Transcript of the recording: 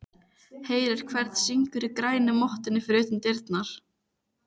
Heyrir hvernig syngur í grænu mottunni fyrir utan dyrnar.